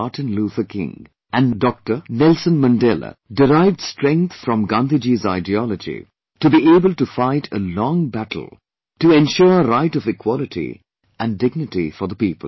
Martin Luther King and Nelson Mandela derived strength from Gandhiji's ideology to be able to fight a long battle to ensure right of equality and dignity for the people